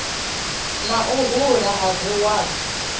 na u hula ha dzisward